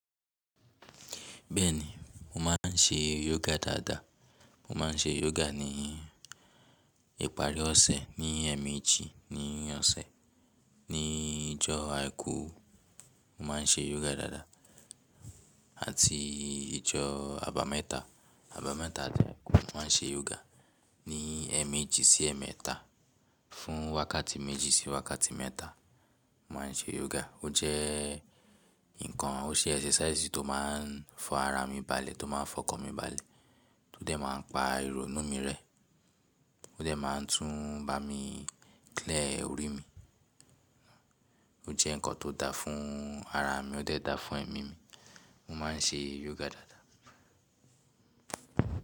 Bẹ́ẹ̀ni, mo máà ń ṣe yoga dáadáa. Mo máà ń ṣe yoga ní ìparí ọ̀sẹ̀, ní ẹ̀ẹ̀mejì ní ọ̀sẹ̀. Ní ìjọ́ àìkú mo máà ń ṣe yoga dáadáa àti ìjọ́ àbámẹ́ta. Àbámẹ́ta àti àìkú mo máà ń ṣe yoga. Ní ẹ̀ẹ̀mejì sí ẹ̀ẹ̀mẹ́ta, fún wákàtí méjì sí wákàtí mẹ́ta mo máà ń ṣe yoga. Ó jẹ́ nǹkan, ó je exercise tó máà ń fi ara mi balẹ̀, tó máà ń fọkanmi balẹ̀, tó dé máà ń pa ìrònú mi rẹ, ó dé máà ń tún bá mi clear orí mi. Ó jẹ́ nǹkan tó da fún ara mi, ó dé da fún ẹ̀mí mi. Mo máà ń ṣe yoga dáadáa.